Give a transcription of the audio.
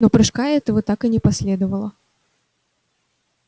но прыжка этого так и не последовало